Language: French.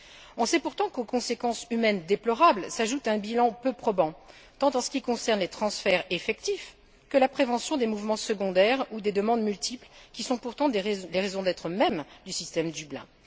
On sait pourtant qu'aux conséquences humaines déplorables s'ajoute un bilan peu probant, tant en ce qui concerne les transferts effectifs que la prévention des mouvements secondaires ou des demandes multiples, qui sont pourtant les raisons d'être mêmes du système Dublin.